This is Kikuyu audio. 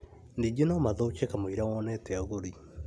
Ningĩ no mathũke kamũiria wonete agũri